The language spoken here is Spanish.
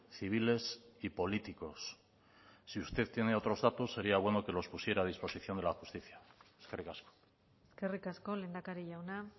civiles y políticos si usted tiene otros datos sería bueno que los pusiera a disposición de la justicia eskerrik asko eskerrik asko lehendakari jauna